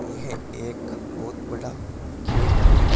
यह एक बहुत बड़ा खेत है।